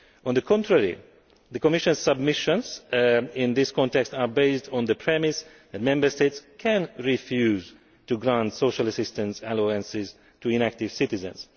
On the contrary, the Commission's submissions in this context are based on the premise that Member States can refuse to grant social assistance allowances to inactive citizens.